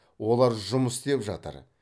олар жұмыс істеп жатыр